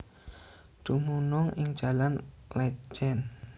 Dumunung ing Jalan Létjen